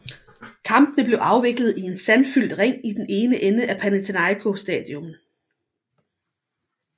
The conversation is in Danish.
Kampene blev afviklet i en sandfyldt ring i den ene ende af Panathinaiko Stadion